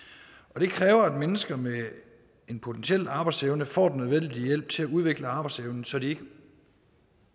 det kræver at mennesker med en potentiel arbejdsevne får den nødvendige hjælp til at udvikle arbejdsevnen så de ikke